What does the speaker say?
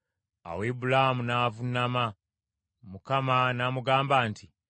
Awo Ibulaamu n’avuunama; Katonda n’amugamba nti,